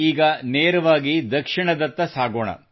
ಈಗ ನೇರವಾಗಿ ದಕ್ಷಿಣದತ್ತ ಸಾಗೋಣ